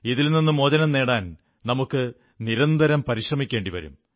ഇതിൽ നിന്നു മോചനം നേടാൻ നമുക്ക് നിരന്തരം പരിശ്രമിക്കേണ്ടിവരും